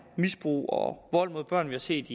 misbrug og vold mod børn vi har set